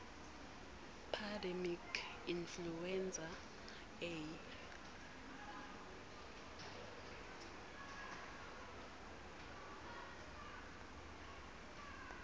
pandemic influenza a